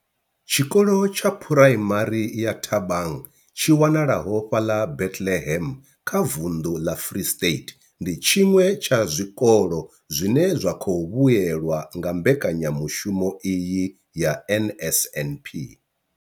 Tshikolo tsha Phuraimari ya Thabang tshi wanalaho fhaḽa Bethlehem kha vunḓu ḽa Free State, ndi tshiṅwe tsha zwikolo zwine zwa khou vhuelwa nga mbekanya mushumo iyi ya NSNP.